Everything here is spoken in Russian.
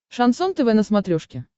шансон тв на смотрешке